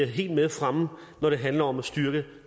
helt med fremme når det handler om at styrke